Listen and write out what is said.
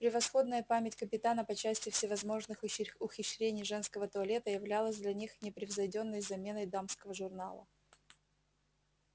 превосходная память капитана по части всевозможных ухищрений женского туалета являлась для них непревзойдённой заменой дамского журнала